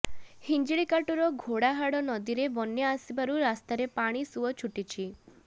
ହିଞ୍ଜିଳିକାଟୁର ଘୋଡ଼ାହାଡ଼ ନଦୀରେ ବନ୍ୟା ଆସିବାରୁ ରାସ୍ତାରେ ପାଣି ସୁଅ ଛୁଟୁଛି